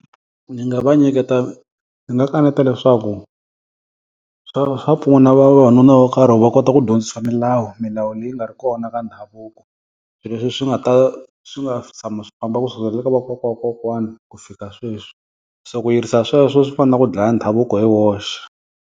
Ndzi nga va nyiketa, ndzi nga kaneta leswaku. Swa swa pfuna vavanuna vo karhi va kota ku dyondzisiwa milawu, milawu leyi nga ri kona ka ndhavuko. Leswi swi nga ta swi nga si tshama swi famba kusuka le ka vakokwakokwana ku fika sweswi. Se ku yirisa sweswo swi fana na ku dlaya ndhavuko hi woxe.